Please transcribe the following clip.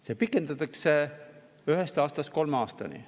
Seda pikendatakse ühelt aastalt kolme aastani.